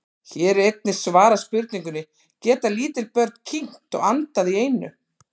Hér er einnig svarað spurningunni: Geta lítil börn kyngt og andað í einu?